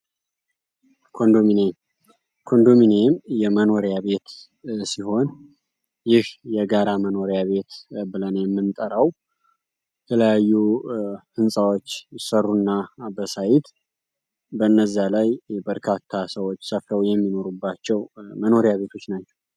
ኮንዶሚኔም ኮንዶሚኔም የመኖሪያ ቤት ሲሆን ይህ የጋራ መኖሪያ ቤት ብለና የምንጠራው ተለያዩ ሕንፃዎች ይሰሩና በሳይት በነዚ ላይ በርካታ ሰዎች ሰፍለው የሚኖሩባቸው መኖሪያ ቤቶች ናቸው፡፡